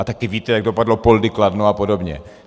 A taky víte, jak dopadlo Poldi Kladno a podobně.